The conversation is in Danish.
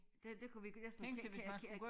Det det kunne vi næsten kan kan øh